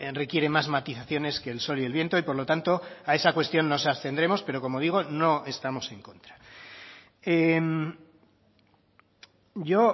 requiere más matizaciones que el sol y el viento y por lo tanto a esa cuestión nos abstendremos pero como digo no estamos en contra yo